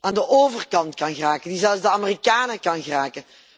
aan de overkant kan geraken, die zelfs de Amerikanen kan raken.